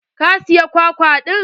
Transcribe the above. Ka saya kwakwa ɗin?